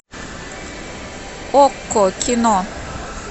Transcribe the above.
окко кино